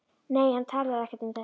Nei, hann talar ekkert um þetta.